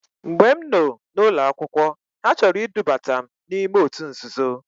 Mgbe m noo n'ụlọ akwụkwọ ha chọrọ idubata m n'ime otu nzuzo.